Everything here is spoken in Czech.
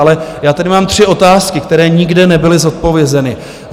Ale já tady mám tři otázky, které nikde nebyly zodpovězeny.